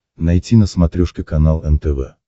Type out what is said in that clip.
найти на смотрешке канал нтв